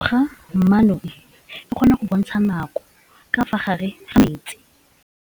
Toga-maanô e, e kgona go bontsha nakô ka fa gare ga metsi.